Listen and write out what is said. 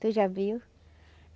Tu já viu?